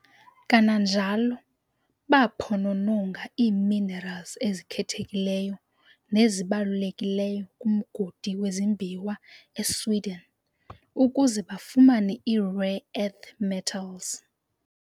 Kananjalo baaphonononga ii-minerals ezikhethekileyo nezibalulekileyo kumgodi wezimbiwa eSweden ukuze bafumane ii-rare earth metals.